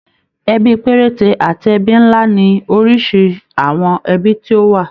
Ẹbí perete àti ẹ́bí nlá ni oríṣi àwọn ẹbí tí ó wà.